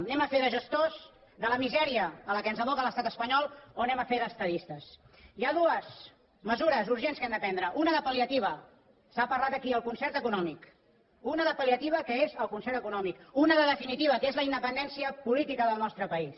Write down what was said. anem a fer de gestors de la misèria a la qual ens aboca l’estat espanyol o anem a fer d’estadistes hi ha dues mesures urgents que hem de prendre una de pal·liativa s’ha parlat aquí el concert econòmic una de pal·liativa que és el concert econòmic i una de definitiva que és la independència política del nostre país